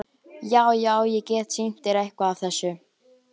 Já, já- ég get sýnt þér eitthvað af þessu.